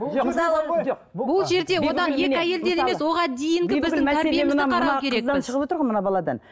қыздан шығып отыр ғой мына баладан